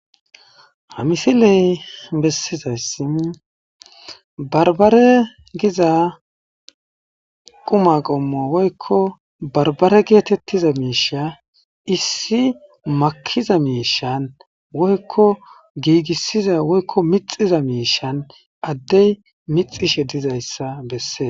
Haa missileyi besizayiss baribare Giza qumma qommo woyikko baribare gettetiza mishsha issi makiza mishshanni woyikko gigisiza woyikko mitsiza mishshanni adeyi mixishshe dizayissa besses.